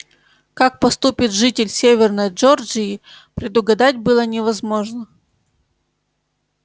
как поступит житель северной джорджии предугадать было невозможно